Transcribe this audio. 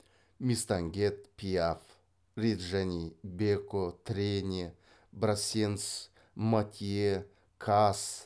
мистангет пиаф реджани беко трене брассенс матье каас